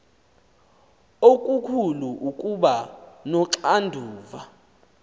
okukhulu ukuba noxanduva